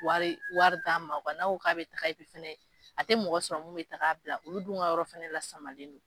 Wari wari d'a ma kuwa n'a ko k'a bɛ fɛnɛ, a tɛ mɔgɔ sɔrɔ minnu bɛ t'a bila olu dun ka yɔrɔ fana la samalen don.